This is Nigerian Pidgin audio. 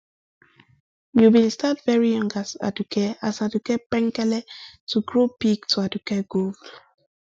you bin start veri young as aduke as aduke penkele to grow big to aduke gold